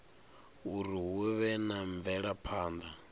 uri hu vhe na mvelaphana